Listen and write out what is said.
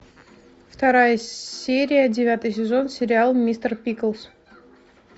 вторая серия девятый сезон сериал мистер пиклз